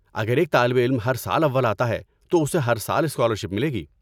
اگر ایک طالب علم ہر سال اول آتا ہے تو اسے ہر سال اسکالرشپ ملے گی۔